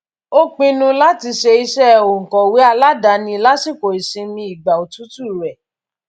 ó pinnu láti ṣe iṣẹ òǹkọwé aládàáni lásìkò ìsinmi ìgbà òtútù rẹ